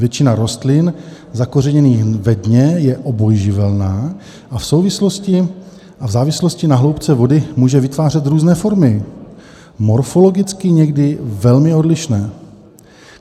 Většina rostlin zakořeněných ve dně je obojživelná a v závislosti na hloubce vody může vytvářet různé formy, morfologicky někdy velmi odlišné.